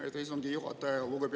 Aitäh, istungi juhataja!